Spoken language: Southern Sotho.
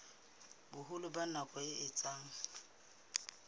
boholo ba nako e etsang